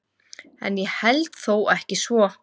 En ég held þó ekki svo.